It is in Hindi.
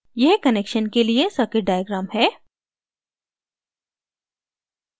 यह connection के लिए circuit diagram है